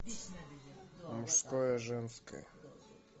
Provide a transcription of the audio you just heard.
мужское женское